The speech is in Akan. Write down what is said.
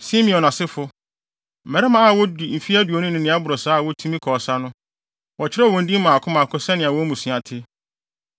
Simeon asefo: Mmarima a wɔadi mfe aduonu ne nea ɛboro saa a wobetumi akɔ ɔsa no, wɔkyerɛw wɔn din mmaako mmaako sɛnea wɔn mmusua te.